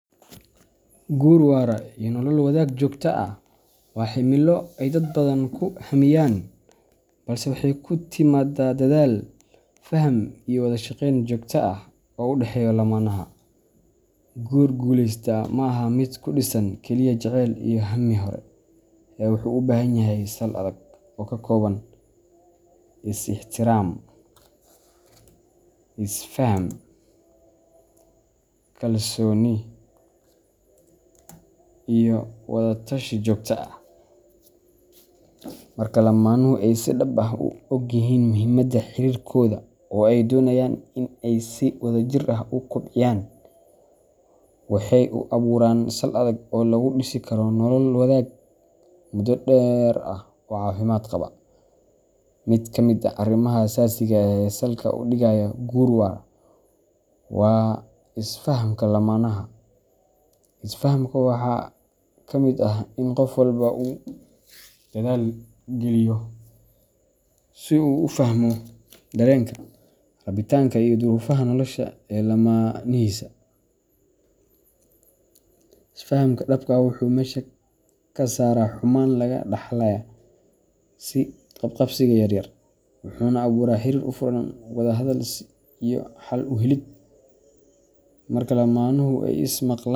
Guur waara iyo nolol wadaag joogto ah waa himilo ay dad badan ku hammiyaan, balse waxay ku timaadaa dadaal, faham, iyo wada shaqeyn joogto ah oo u dhexeeya lamaanaha. Guur guuleysta ma aha mid ku dhisan keliya jacayl iyo hammi hore, ee wuxuu u baahan yahay sal adag oo ka kooban is ixtiraam, is faham, kalsooni, iyo wada tashi joogto ah. Marka lammaanuhu ay si dhab ah u ogyihiin muhiimada xiriirkooda oo ay doonayaan in ay si wadajir ah u kobciyaan, waxay u abuuraan sal adag oo lagu dhisi karo nolol wadaag muddo dheer ah oo caafimaad qaba. Mid ka mid ah arrimaha aasaasiga ah ee salka u dhigaya guur waara waa is fahamka lammaanaha. Is fahamka waxaa ka mid ah in qof walba uu dadaal geliyo in uu fahmo dareenka, rabitaanka, iyo duruufaha nolosha ee lamaanihiisa. Is faham dhab ah wuxuu meesha ka saaraa xumaan laga dhaxlaya is qab qabsiga yaryar, wuxuuna abuuraa xiriir u furan wada hadal iyo xal u helid. Marka lammaanuhu ay is maqlaan.